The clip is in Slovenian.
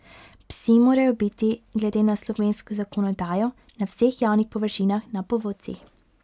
Psi morajo biti glede na slovensko zakonodajo na vseh javnih površinah na povodcih.